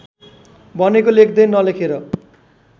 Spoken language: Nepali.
भनेको लेख्दै नलेखेर